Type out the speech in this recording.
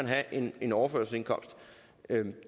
have en en overførselsindkomst